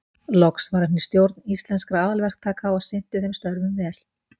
Loks var hann í stjórn Íslenskra aðalverktaka og sinnti þeim störfum vel.